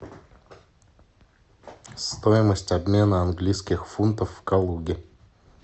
стоимость обмена английских фунтов в калуге